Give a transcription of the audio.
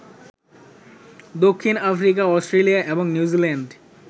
দক্ষিণ Africa, Australia এবং New Zealand